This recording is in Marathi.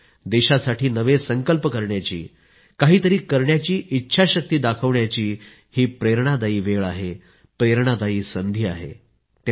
देशासाठी नवे संकल्प करण्याची काही तरी करण्याची इच्छाशक्ती दाखविण्याची हे प्रेरणादायी वेळ आहे प्रेरणादायी उत्सव आहे